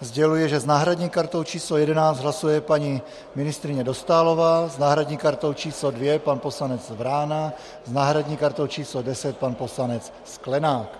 sděluji, že s náhradní kartou číslo 11 hlasuje paní ministryně Dostálová, s náhradní kartou číslo 2 pan poslanec Vrána, s náhradní kartou číslo 10 pan poslanec Sklenák.